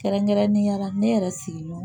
Kɛrɛnkɛrɛnnenya la ne yɛrɛ sigilen don